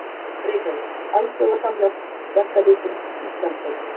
Reykjavík: Alþjóða Samhjálp Verkalýðsins Íslandsdeildin.